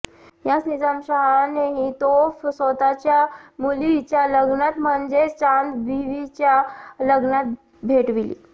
याच निजामशहाने ही तोफ स्वतःच्या मुलीच्या लग्नात म्हणजेच चांदबिबीच्या लग्नात भेटविली